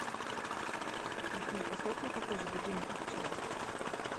афина поставь мне такой же будильник как вчера